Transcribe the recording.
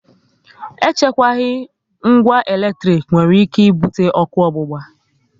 E chukwaghi ngwa eletrik nwere ike ibute ọkụ ogbugba